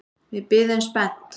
Við biðum spennt.